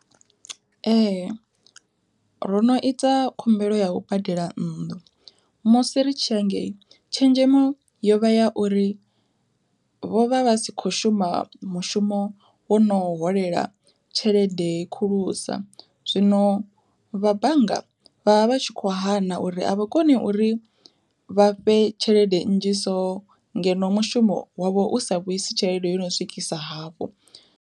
Ee ro no ita khumbelo yau badela nnḓu musi ri tshi ya hangei, tshenzhemo yovha ya uri vho vha vha si kho shuma mushumo wo no holela tshelede khulusa, zwino vha bannga vha vha vha tshi kho hana uri a vhukoni uri vha fhe tshelede nnzhi so ngeno mushumo wavho u sa vhuisi tshelede yo no swikisa hafho.